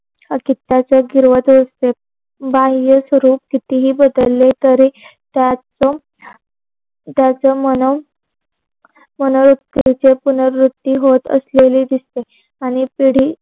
अस्तीवयाचे आशीर्वाद भेटते. बाह्य स्वरूप कितीही बदले तरी त्याचे त्याचे मन मन मनोवृत्तीचे पुनरवृत्ती होत असलेली दिसते. आणि पिढी